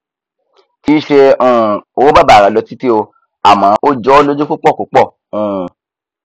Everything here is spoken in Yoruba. kìí ṣe um owó bàbàrà lọ títí o àmọ ó jọọ lójú púpọ púpọ um